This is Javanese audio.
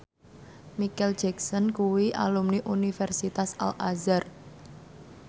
Micheal Jackson kuwi alumni Universitas Al Azhar